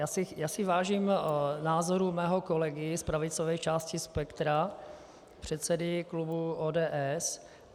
Já si vážím názoru svého kolegy z pravicové části spektra, předsedy klubu ODS.